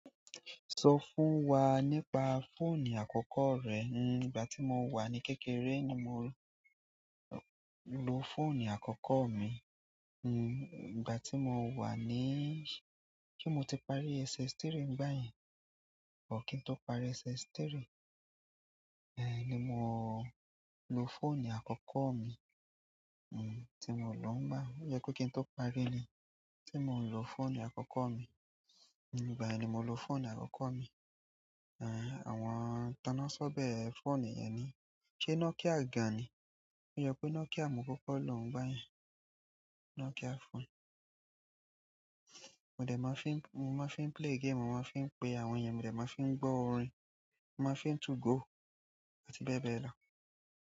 Sọ fún wa nípa fóònù àkọ́kọ́ rẹ. Ní ìgbà tí mo wà ní kékeré ni mo lò fóònù àkọ́kọ́ mi. Ní ìgbà tí mo wà níí ṣe mo ti parí SS3 báyìí. Kí n tó parí SS3 ni mo lò fóònù àkọ́kọ́ mi tí mo lò ngbà yẹn. Ó yẹ tó kí n tó parí ni tí mo ń lò fóònù àkọ́kọ́ mi. Ígbà yẹn ni mo lò fóònù àkọ́kọ́ mi. Àwọn tonasobe fóònù yẹn ni. Ṣé nokia gan ni? Ó yẹ pé Nokia mo kókó lò ngbá yẹn. Nokia fóònù. Mo de máa fi n, mo máa fi n play game, mo máa fi ń pè àwọn èèyàn, mo de máa fi ń gbọ́ orin, mo máa fi n to go àti bẹ́ẹ̀ bẹ́ẹ̀ lọ.